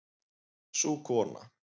Sú kona